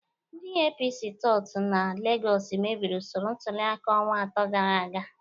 Ndị APC tout na Legọs mebiri usoro ntuliaka ọnwa atọ gara aga